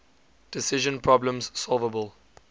decision problems solvable